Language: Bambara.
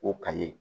O kaye